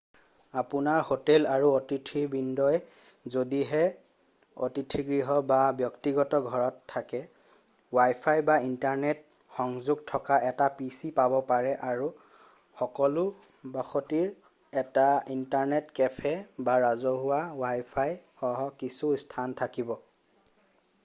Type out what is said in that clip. আপোনাৰ হোটেল আৰু অতিথিবৃন্দই যদিহে অতিথিগৃহ বা ব্যক্তিগত ঘৰত থাকে ৱাইফাই বা ইন্টাৰনেট সংযোগ থকা এটা পি.চি পাব পাৰে আৰু সকলো বসতিৰ এটা ইন্টাৰনেট কেফে বা ৰাজহুৱা ৱাইফাই সহ কিছু স্থান থাকিব।